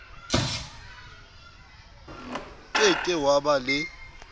ke ke wa ba le